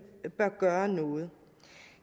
bør gøre noget